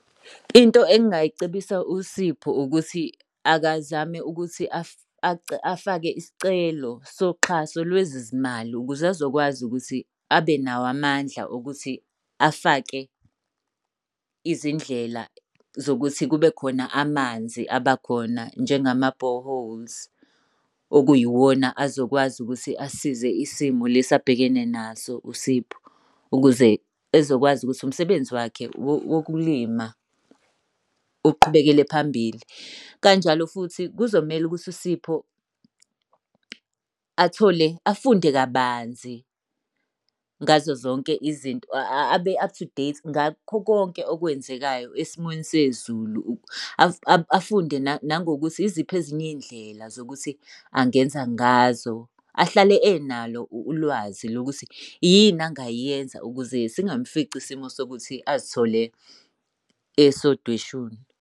Into engingayicebisa uSipho ukuthi akazame ukuthi afake isicelo soxhaso lwezezimali ukuze azokwazi ukuthi abe nawo amandla okuthi afake izindlela zokuthi kube khona amanzi aba khona njengama-boreholes. Okuyiwona azokwazi ukuthi asize isimo lesi abhekene naso uSipho, ukuze ezokwazi ukuthi umsebenzi wakhe wokulima uqhubekele phambili. Kanjalo futhi kuzomele ukuthi uSipho athole, afunde kabanzi ngazo zonke izinto abe-up to date ngakho konke okwenzekayo, esimweni sezulu. Afunde nangokuthi yizipho ezinye iy'ndlela zokuthi angenza ngazo. Ahlale enalo ulwazi lokuthi yini angayenza ukuze singamufici isimo sokuthi azithole esodweshuni.